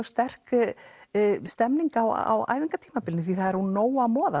sterk stemming á æfingatímabilinu því það er úr nógu að moða